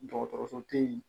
Dɔgɔtɔrɔso te yen